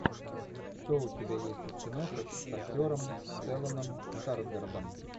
что у тебя есть из киношек с актером стелланом скарсгардом